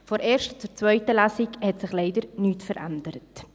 Von der ersten zur zweiten Lesung hat sich leider nichts verändert.